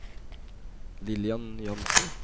Lillian Jansen